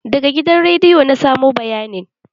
Daga gidan rediyo na samo bayanin